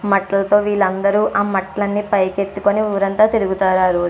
వీళ్లందరి ఆ మట్టెలను పైకి ఎత్తుకుని ఊరంతా తిరుగుతారు.